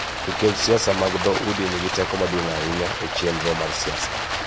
Nikech siasa mag dho udi nigi teko maduong� ahinya e chenro mar siasa.